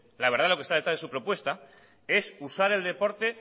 la verdad de lo que está detrás de su propuesta es usar el deporte